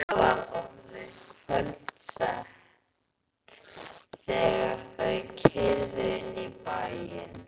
Það var orðið kvöldsett þegar þau keyrðu inn í bæinn.